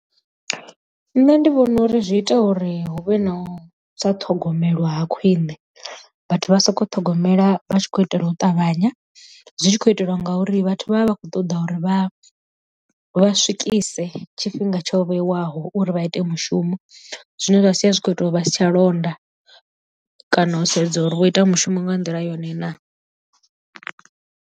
Nṋe ndi vhona uri zwi ita uri huvhe na u sa ṱhogomelwa ha khwine vhathu vha soko ṱhogomela vha tshi khou itela u ṱavhanya, zwi tshi khou itelwa nga uri vhathu vha vha vha khou ṱoḓa uri vha vha swikise tshifhinga tsho vheiwaho uri vha ite mushumo zwine zwa sia zwi kho ita uri vha si tsha londa kana u sedza uri vho ita mushumo nga nḓila yone naa.